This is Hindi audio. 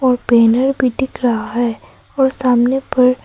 और बैनर भी दिख रहा है और सामने पर--